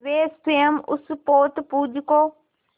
वे स्वयं उस पोतपुंज को